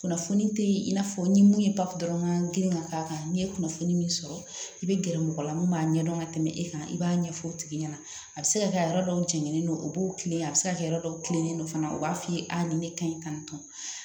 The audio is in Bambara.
Kunnafoni te yen i n'a fɔ ni mun ye dɔrɔn ka girin ka k'a kan n'i ye kunnafoni min sɔrɔ i be gɛrɛ mɔgɔ la mun b'a ɲɛdɔn ka tɛmɛ e kan i b'a ɲɛfɔ o tigi ɲɛna a be se ka kɛ a yɔrɔ dɔw jɛnen don u b'o kilen a be se ka kɛ yɔrɔ dɔw tilennen don fana u b'a f'i ye a ni ne ka ɲi ka nin tɔn